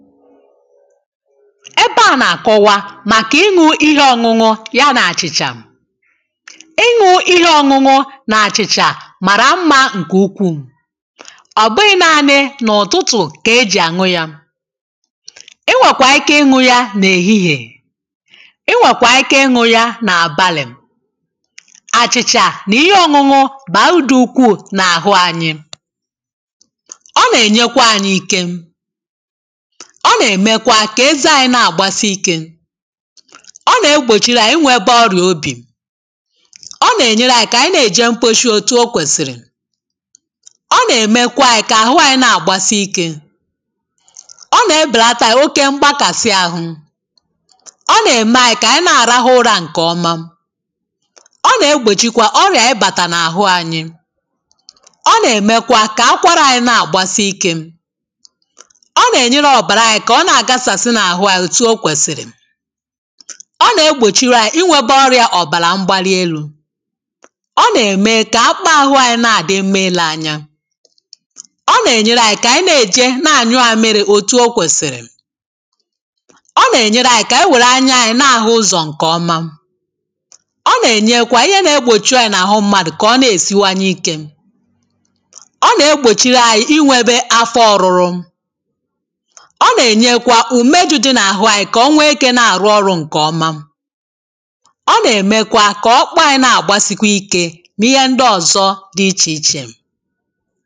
ebe à na-akọwa màkà ịṅụ̇ ihe ọ̇ṅụ̇ṅụ̇ ya nà-àchịchà ịṅụ̇ ihe ọ̇ṅụ̇ṅụ̇ nà-àchịchà màrà mmȧ ǹkè ukwuù ọ̀bụghị̇ naanị̇ n’ụ̀tụtụ̀ kà ejì ànwụ yȧ inwèkwà ike ịṅụ̇ ya nà-èhihè inwèkwà ike ịṅụ̇ ya nà-àbalì àchịchà nà ihe ọ̇ṅụ̇ṅụ̇ bà àudì ukwuù nà àhụ anyị ọ nà-ènyekwa anyị ike kà eze anyi̇ na-àgbasi ikė ọ nà-egbòchiri à inwė ebe ọrìà obì ọ nà-ènyere anyi̇ kà ànyi na-èje mkposhi òtù o kwèsìrì ọ nà-èmekwa anyi̇ kà àhụ anyi̇ na-àgbasi ikė ọ nà-ebèlata anyi̇ oke mgbakàsị àhụ ọ nà-ème anyi̇ kà ànyi na-àrahụ ụra ǹkèọma ọ nà-egbòchikwa ọrìà ebàtà n’àhụ anyi̇ ọ nà-èmekwa kà akwara anyi̇ na-àgbasi ikė ọ na-egbochiri anyị inwebe ọrịȧ ọ̀bàlà mgbalielu̇ ọ na-ème kà akpụkpọ àhụ anyị na-àdị mma ilė anya ọ nà-ènyere ànyị kà ànyị na-èje na-ànyụ àmịrị̇ òtù o kwèsìrì ọ nà-ènyere anyị kà ànyị wèrè anya anyị na-àhụ ụzọ̀ ǹkèọma ọ nà-ènyekwa ihe na-egbòchi ọrịȧ n’àhụ mmadụ̀ kà ọ na-èsiwanye ikė ọ nà-egbòchiri anyị inwebe afọ ọrụrụ ǹke à bụ̀ ihe nà-èkpebìkpe ȧhụ̇ ihe nà-àrụ ọrụ̇ ǹkè ọma